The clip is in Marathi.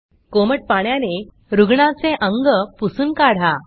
कोमट पाण्याने रुग्णाचे अंग पुसून काढा